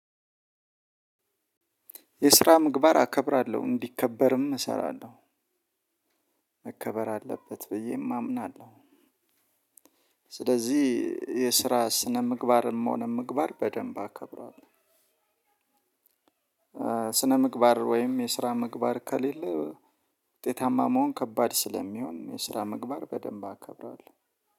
የስራ ምግባር አከብራለሁ እንዲከበርም እሰራለሁ መከበር አለበት ብዬም አምናለሁ። ስለዚህ የስራ ስነ ምግባርም ሆነ ምግባር በደንብ አከብራለሁ። ስነ ምግባር ወይም የስራ ምግባር ከሌለ ውጤታማ መሆን ከባድ ስለሚሆን የስራ ምግባር በደንብ አከብራለሁ።